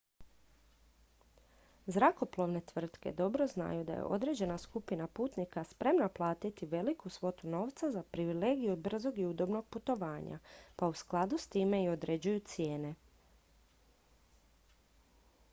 zrakoplovne tvrtke dobro znaju da je određena skupina putnika spremna platiti veliku svotu novca za privilegiju brzog i udobnog putovanja pa u skladu s time i određuju cijene